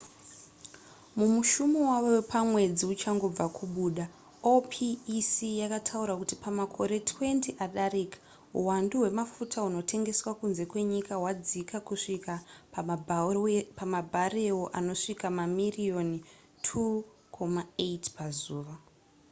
mumushumo wavo wepamwedzi uchangobva kubuda opec yakataura kuti pamakore 20 adarika uhwandu hwemafuta hunotengeswa kunze kwenyika hwadzika kusvika pamabharewo anosvika mamiriyoni 2,8 pazuva